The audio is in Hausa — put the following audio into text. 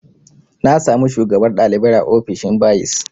Na samu shugabar ɗalibai a ofishin bayis